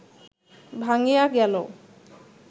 ভাঙ্গিয়া গেল